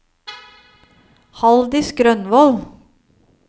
Haldis Grønvold